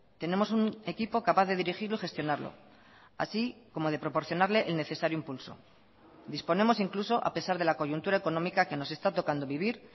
tenemos un equipo capaz de dirigirlo y gestionarlo así como de proporcionarle el necesario impulso disponemos incluso a pesar de la coyuntura económica que nos está tocando vivir